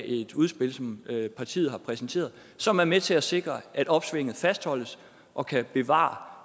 et udspil som partiet har præsenteret som er med til at sikre at opsvinget fastholdes og kan bevares